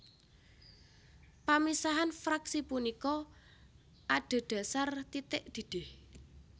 Pamisahan fraksi punika adhédhasar titik didih